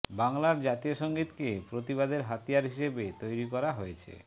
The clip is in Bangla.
বাংলার জাতীয় সঙ্গীতকে প্রতিবাদের হাতিয়ার হিসেবে তৈরি করা হয়েছে